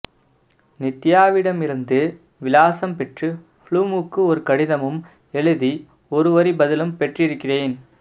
நித்யாவிடமிருந்து விலாசம் பெற்று ப்ளூமுக்கு ஒருகடிதமும் எழுதி ஒருவரி பதிலும் பெற்றிருக்கிறேன்